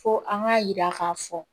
Fo an k'a yira k'a fɔ